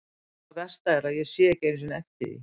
Það versta er að ég sé ekki einu sinni eftir því.